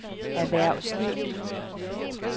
erhvervsliv